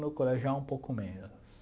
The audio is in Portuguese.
no colegial um pouco menos.